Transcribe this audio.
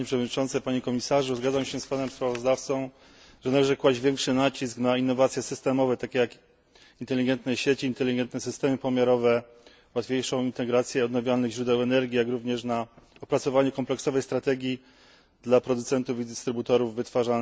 Zgadzam się z panem sprawozdawcą, że należy kłaść większy nacisk na innowacje systemowe, takie jak inteligentne sieci, inteligentne systemy pomiarowe, łatwiejszą integrację odnawialnych źródeł energii, jak również na opracowanie kompleksowej strategii dla producentów i dystrybutorów wytwarzania ciepła.